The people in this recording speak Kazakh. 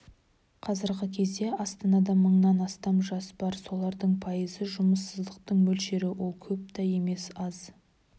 қазіргі кезде астанада мыңнан астам жас бар солардың пайызы жұмыссыздықтың мөлшері ол көп та емес аз